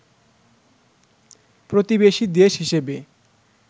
প্রতিবেশী দেশ হিসেবে